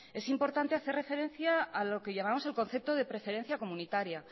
es importante hacer referencia a lo que llamábamos el concepto de preferencia comunitaria